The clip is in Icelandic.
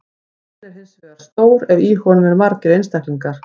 Hópurinn er hins vegar stór ef í honum eru margir einstaklingar.